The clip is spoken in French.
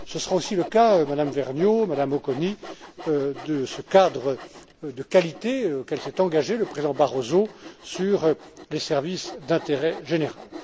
Ce sera aussi le cas, Madame Vergnaud, Madame Auconie, de ce cadre de qualité auquel s'est engagé le président Barroso sur les services d'intérêt général.